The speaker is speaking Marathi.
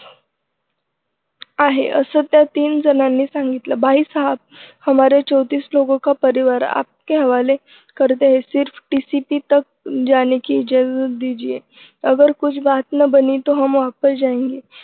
आहे असं त्या तीन जणांनी सांगितलं बाई साहेब हमारे चौंतीस लोगों का परिवार आपके हवाले करते है सिर्फ TCP तक जाने की जरूरत दीजिए अगर कुछ बात न बनी तो हम वापस जायेंगे